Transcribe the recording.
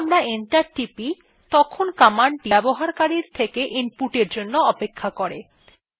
যখন আমরা enter টিপি তখন commandthe ব্যবহারকারীর থেকে input জন্য অপেক্ষা করে